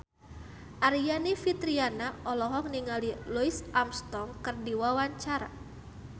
Aryani Fitriana olohok ningali Louis Armstrong keur diwawancara